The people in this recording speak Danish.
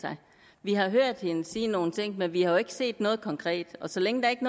sig vi har hørt hende sige nogle ting men vi har jo ikke set noget konkret og så længe der ikke